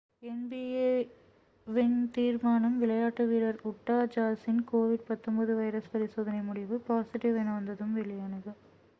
NP. A வின் தீர்மானம் விளையாட்டு வீரர் உட்டா ஜாஸின் கோவிட்-19 வைரஸ் பரிசோதனை முடிவு பாஸிட்டிவ் என வந்ததும் வெளியானது